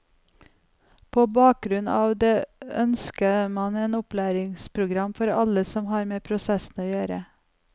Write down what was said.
På bakgrunn av det ønsket man et opplæringsprogram for alle som har med prosessen å gjøre.